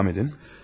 Devam edin.